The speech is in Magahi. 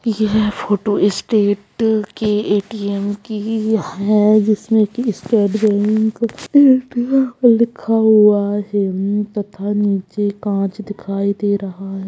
यह फोटो ई स्टेट के ए.टी .एम. की ही है जिसमे की स्टेट बैंक लिखा हुआ है तथा नीचे काच दिखाई दे रहा है |